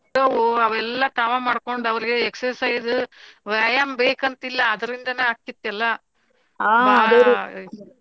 ಅವ ಎಲ್ಲಾ ತಾವ ಮಾಡ್ಕೊಂಡ್ ಅವ್ರಗ exercise ವ್ಯಾಯಾಮ್ ಬೇಕಂತಿಲ್ಲಾ ಅದ್ರಿಂದಾನ ಆಗ್ತಿತ್ ಎಲ್ಲಾ .